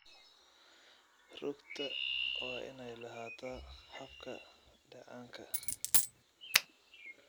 Rugta waa in ay lahaataa habka dheecaanka.